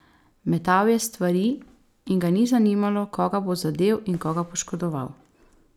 Metal je stvari in ga ni zanimalo, koga bo zadel in koga poškodoval.